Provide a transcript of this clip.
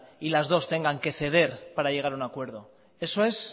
y las dos tengan que ceder para llegar a un acuerdo eso es